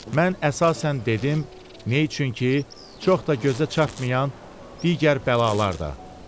Mən əsasən dedim, nə üçün ki, çox da gözə çarpmayan digər bəlalar da.